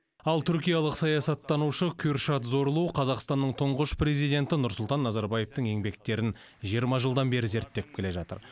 ал түркиялық саясаттанушы кюршат зорлу қазақстанның тұңғыш президенті нұрсұлтан назарбаевтың еңбектерін жиырма жылдан бері зерттеп келе жатыр